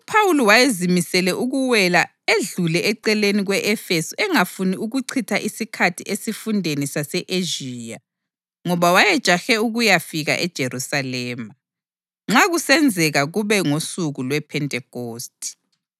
UPhawuli wayezimisele ukuwela edlule eceleni kwe-Efesu engafuni ukuchitha isikhathi esifundeni sase-Ezhiya, ngoba wayejahe ukuyafika eJerusalema, nxa kusenzeka kube ngosuku lwePhentekhosti.